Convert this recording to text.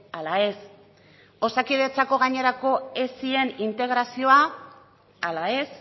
ala ez osakidetzako gainerako esien integrazioa ala ez